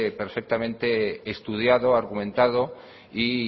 perfectamente estudiado argumentado y